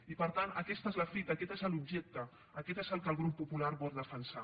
i per tant aquesta és la fita aquest és l’objecte aquest és el que el grup popular vol defensar